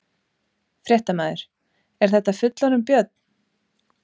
Fréttamaður: Er þetta fullorðinn björn?